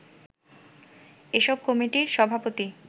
এসব কমিটির সভাপতি